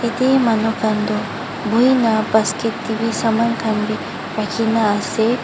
ete manu khan tu buhi na basket te bi saman khan bi rakhi ne ase.